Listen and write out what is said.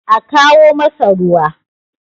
a kawo masa ruwa!